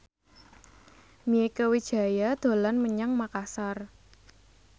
Mieke Wijaya dolan menyang Makasar